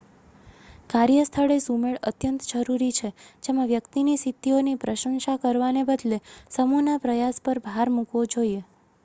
કાર્યસ્થળે સુમેળ અત્યંત જરૂરી છે જેમાં વ્યક્તિની સિદ્ધિઓની પ્રશંસા કરવાને બદલે સમૂહના પ્રયાસ પર ભાર મૂકાવો જોઈએ